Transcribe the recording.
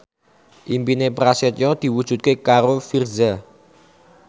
impine Prasetyo diwujudke karo Virzha